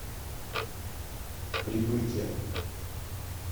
прибытие